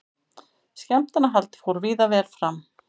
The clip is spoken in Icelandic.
Skemmtanahald fór víða vel fram